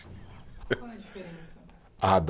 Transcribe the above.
Qual a diferença? Ah, da